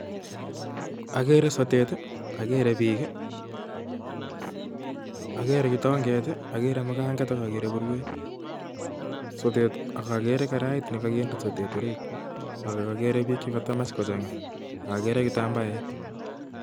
Akere sotet ii, akere biik, akere kitonget, akere muganget ak akere burwet ak akere karait nekokinde sotet orit ak akere biik chekatamach kochang'a ak akere kitambaet